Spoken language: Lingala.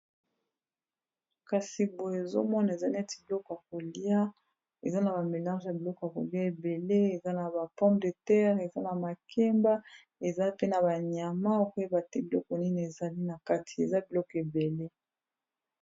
kasi boye ozomona eza neti biloko ya kolia eza na bamélarge ya biloko ya kolia ebele eza na ba pompe de terre eza na makemba eza pe na banyama okoyeba te biloko nini ezali na kati eza biloko ebele